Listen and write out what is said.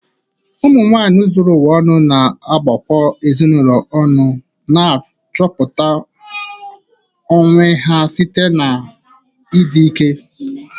Umu nwanyị zuru ụwa ọnụ na-agbakọ ezinụlọ, ọrụ, na nchọpụta onwe ha site n'ịdị ike.